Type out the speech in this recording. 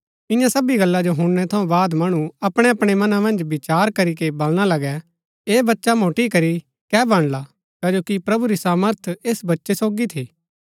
ईयां सबी गल्ला जो हुणनै थऊँ बाद मणु अपणैअपणै मनां मन्ज विचार करीके बलणा लगै ऐह बच्चा मोटि करी कै बणला कजो कि प्रभु री सामर्थ ऐस बच्चै सोगी थी